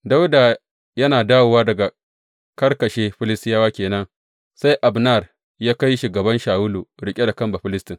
Dawuda yana dawowa daga karkashe Filistiyawa ke nan, sai Abner ya kai shi gaban Shawulu, riƙe da kan Bafilistin.